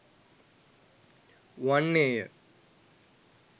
වන්නේ ය.